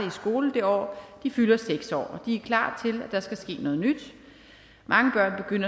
i skole det år de fylder seks år og de er klar til at der skal ske noget nyt mange børn